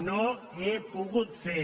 no he pogut fer